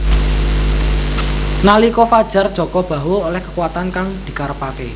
Nalika fajar Jaka Bahu oleh kekuatan kang dikarepake